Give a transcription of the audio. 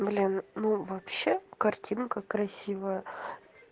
блин ну вообще картинка красивая